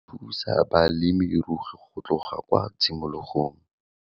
Re thusa balemirui go tloga kwa tshimologong.